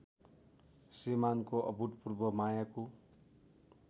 श्रीमानको अभुतपूर्व मायाको